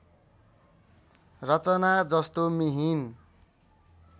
रचना जस्तो मिहिन